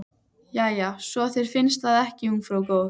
Jæja, svo þér finnst það ekki ungfrú góð.